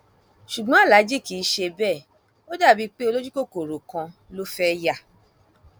ṣùgbọn aláàjì kì í ṣe bẹẹ ó dà bíi pé olójúkòkòrò kan ló fẹẹ yá